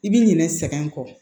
I bi ɲinɛ sɛgɛn kɔ